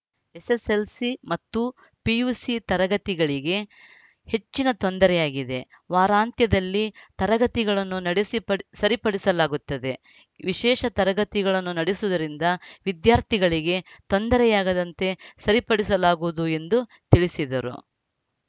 SSLC ಮತ್ತು PUC ತರಗತಿಗಳಿಗೆ ಹೆಚ್ಚಿನ ತೊಂದರೆಯಾಗಿದೆ ವಾರಾಂತ್ಯದಲ್ಲಿ ತರಗತಿಗಳನ್ನು ನಡೆಸಿ ಪಡ್ ಸರಿಪಡಿಸಲಾಗುತ್ತದೆ ವಿಶೇಷ ತರಗತಿಗಳನ್ನು ನಡೆಸುವುದರಿಂದ ವಿದ್ಯಾರ್ಥಿಗಳಿಗೆ ತೊಂದರೆಯಾಗದಂತೆ ಸರಿಪಡಿಸಲಾಗುವುದು ಎಂದು ತಿಳಿಸಿದರು